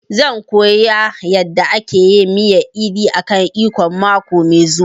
Zan koya yanda ake miyar edi kan ikong mako mai zuwa